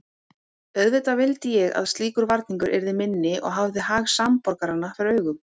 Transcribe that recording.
Auðvitað vildi ég að slíkur varningur yrði minni og hafði hag samborgaranna fyrir augum.